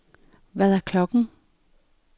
Hvad er klokken